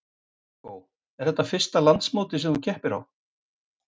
Viggó: Er þetta fyrsta landsmótið sem að þú keppir á?